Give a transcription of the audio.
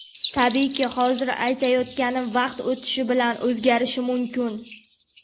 Tabiiyki, hozir aytayotganim vaqt o‘tishi bilan o‘zgarishi mumkin.